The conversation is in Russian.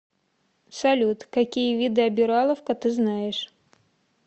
салют какие виды обираловка ты знаешь